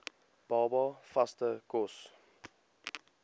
baba vaste kos